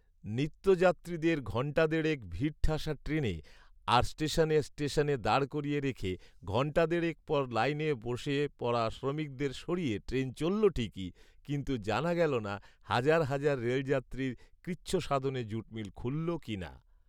নিত্যযাত্রীদের ঘন্টা দেড়েক ভিড়ঠাসা ট্রেনে আর স্টেশনে স্টেশনে দাঁড় করিয়ে রেখে ঘন্টা দেড়েক পর লাইনে বসে পরা শ্রমিকদের সরিয়ে ট্রেন চলল ঠিকই, কিন্তু জানা গেল না হাজার হাজার রেলযাত্রীর কৃচ্ছসাধনে জুটমিল খুলল কী না